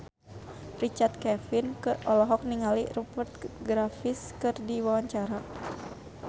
Richard Kevin olohok ningali Rupert Graves keur diwawancara